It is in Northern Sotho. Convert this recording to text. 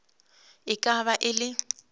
e ka ba e le